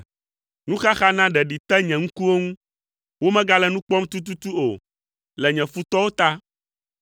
Nuxaxa na ɖeɖi te nye ŋkuwo ŋu; womegale nu kpɔm tututu o, le nye futɔwo ta.